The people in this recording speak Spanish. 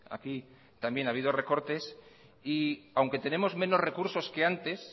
aquí también ha habido recortes y aunque tenemos menos recursos que antes